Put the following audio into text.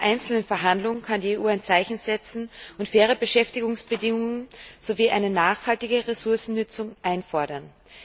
Bei jeder einzelnen Verhandlung kann die EU ein Zeichen setzen und faire Beschäftigungsbedingungen sowie eine nachhaltige Ressourcennutzung einfordern.